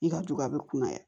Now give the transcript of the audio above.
I ka jugu a bɛ kunnaya